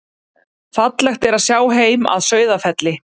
Fallegt er að sjá heim að Sauðafelli.